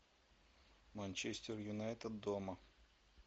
манчестер юнайтед дома